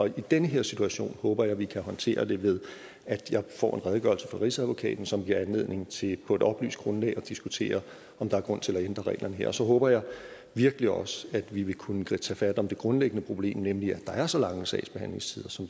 i den her situation håber jeg vi kan håndtere det ved at jeg får en redegørelse fra rigsadvokaten som giver anledning til på et oplyst grundlag at diskutere om der er grund til at ændre reglerne her så håber jeg virkelig også at vi vil kunne tage fat om det grundlæggende problem nemlig at der er så lange sagsbehandlingstider som